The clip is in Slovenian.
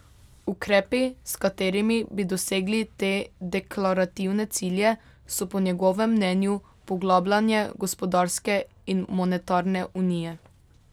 Ukrepi, s katerimi bi dosegli te deklarativne cilje, so po njegovem mnenju poglabljanje gospodarske in monetarne unije.